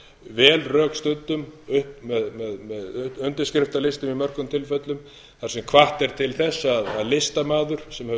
vel rökstuddum með undirskriftalistum í mörgum tilfellum þar sem hvatt er til þess að listamaður sem hefur